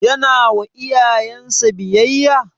Yana wa iyayen sa biyayya?